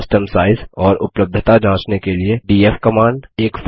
file system size और उपलब्धता जाँचने के लिए डीएफ कमांड